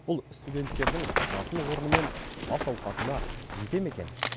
бұл студенттердің жатын орны мен ас ауқатына жете ме екен